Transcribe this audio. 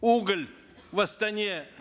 уголь в астане